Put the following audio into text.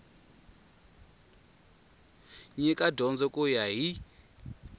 nyika dyondzo ku ya hi